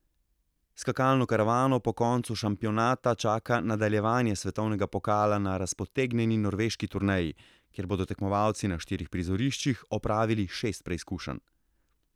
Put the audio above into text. Skakalno karavano po koncu šampionata čaka nadaljevanje svetovnega pokala na razpotegnjeni norveški turneji, kjer bodo tekmovalci na štirih prizoriščih opravili šest preizkušenj.